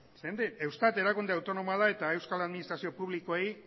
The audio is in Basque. zeren eta eustat erakunde autonomoa da eta euskal administrazio publikoei